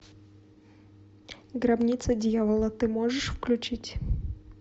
гробница дьявола ты можешь включить